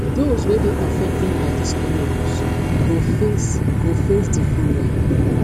dose wey dey affected by dis new rules go face go face di following